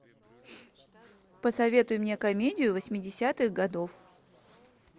посоветуй мне комедию восьмидесятых годов